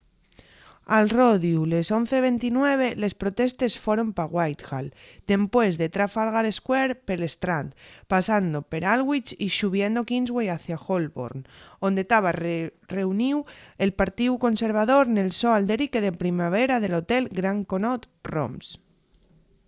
al rodiu les 11:29 les protestes foron pa whitehall dempués de trafalgar square pel strand pasando per alwich y xubiendo kingsway hacia holborn onde taba reuníu'l partíu conservador nel so alderique de primavera del hotel grand connaught rooms